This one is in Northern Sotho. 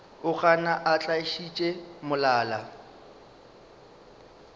o gana a tiišitše molala